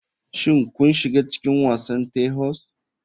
Shin kun shiga cikin wasan terhoise?